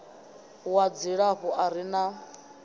wa dzilafho a re na